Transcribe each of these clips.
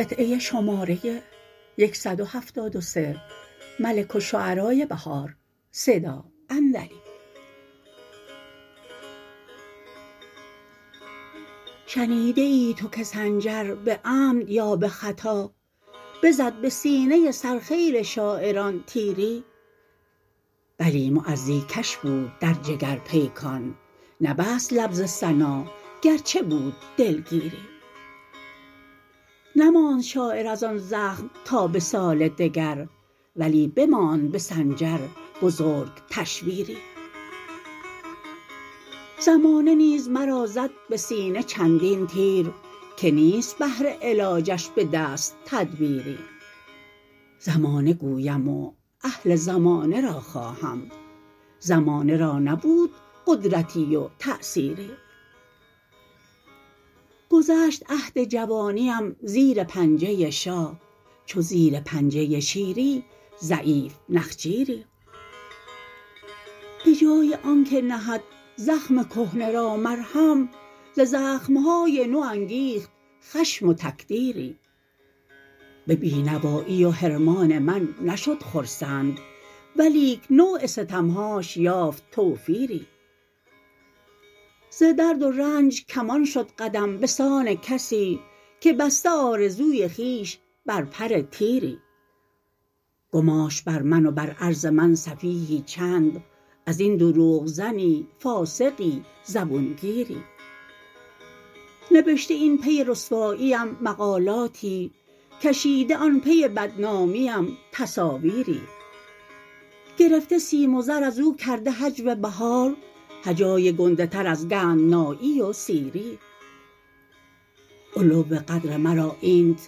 شنیده ای تو که سنجر به عمد یا به خطا بزد به سینه سر خیل شاعران تیری بلی معزی کش بود در جگر پیکان نبست لب ز ثنا گرچه بود دلگیری نماند شاعر از آن زخم تا به سال دگر ولی بماند به سنجر بزرگ تشویری زمانه نیز مرا زد به سینه چندین تیر که نیست بهر علاجش به دست تدبیری زمانه گویم و اهل زمانه را خواهم زمانه را نبود قدرتی وتاثیری گذشت عهد جوانیم زیرپنجه شاه چو زیر پنجه شیری ضعیف نخجیری بجای آنکه نهد زخم کهنه را مرهم ز زخم های نو انگیخت خشم و تکدیری به بینوایی و حرمان من نشد خرسند ولیک نوع ستم هاش یافت توفیری ز درد و رنج کمان شد قدم بسان کسی که بسته آرزوی خوبش بر پر تیری گماشت بر من و بر عرض من سفیهی چند ازین دروغ زنی فاسقی زبونگیری نبشته این پی رسواییم مقالاتی کشیده آن پی بدنامیم تصاویری گرفته سیم و زر از و کرده هجو بهار هجای گنده تر از گندنایی و سیری علو قدر مرا اینت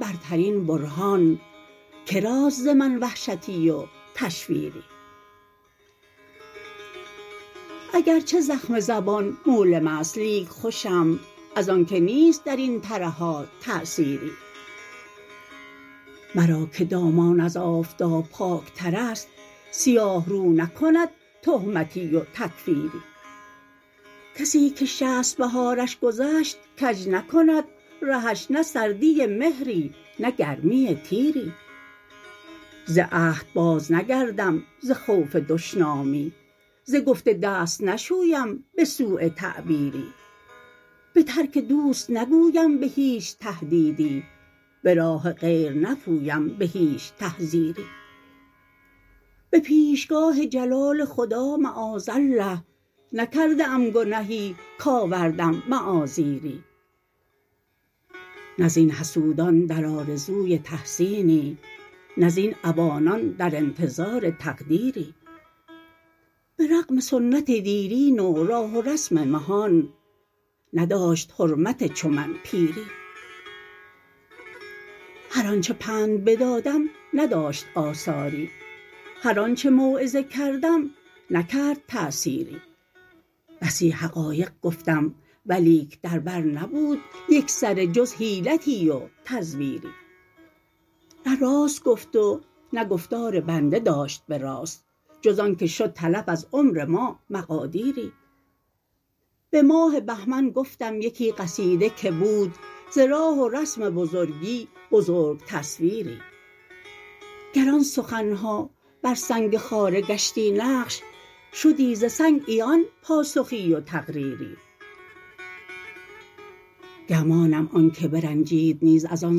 برترین برهان که راست ز من وحشتی و تشویری اگرچه زخم زبان مولم است لیک خوشم از آنکه نیست د رین ترهات تاثیری مرا که دامان از آفتاب پاک تر است سیاه رو نکند تهمتی و تکفیری کسی که شصت بهارش گذشت کج نکند رهش نه سردی مهری نه گرمی تیری ز عهد باز نگردم ز خوف دشنامی ز گفته دست نشویم به سوء تعبیری به ترک دوست نگویم به هیچ تهدیدی به راه غیر نپویم به هیچ تحذیری به پیشگاه جلال خدا معاذالله نکرده ام گنهی کآوردم معاذیری نه زبن حسودان در آرزوی تحسینی نه زین عوانان در انتظار تقدیری به رغم سنت دیرین و راه و رسم مهان نداشت حرمت چو من پیری هر آنچه پند بدادم نداشت آثاری هرآنچه موعظه کردم نکرد تاثیری بسی حقایق گفتم ولیک در بر نبود یکسره جز حیلتی و تزویری نه راست گفت و نه گفتار بنده داشت به راست جز آن که شد تلف از عمر ما مقادیری به ماه بهمن گفتم یکی قصیده که بود ز راه و رسم بزرگی بزرگ تصویری گر آن سخن ها بر سنگ خاره گشتی نقش شدی ز سنگ عیان پاسخی و تقریری گمانم آن که برنجید نیز از آن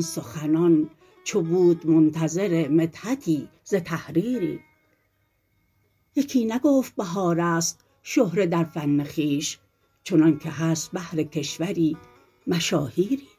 سخنان چو بود منتظر مدحتی ز نحریری یکی نگفت بهار است شهره در فن خویش چنان که هست بهرکشوری مشاهیری